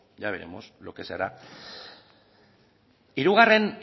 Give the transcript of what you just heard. ya veremos lo que se hará hirugarren